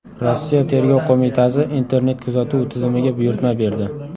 Rossiya Tergov qo‘mitasi internet-kuzatuv tizimiga buyurtma berdi.